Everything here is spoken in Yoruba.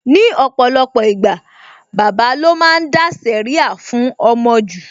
Ní ọ̀pọ̀lọpọ̀ ìgbà, bàbà lo máa ń dá sẹ̀ríà fún ọmọ jù